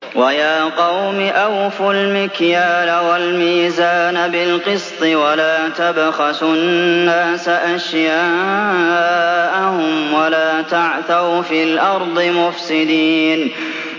وَيَا قَوْمِ أَوْفُوا الْمِكْيَالَ وَالْمِيزَانَ بِالْقِسْطِ ۖ وَلَا تَبْخَسُوا النَّاسَ أَشْيَاءَهُمْ وَلَا تَعْثَوْا فِي الْأَرْضِ مُفْسِدِينَ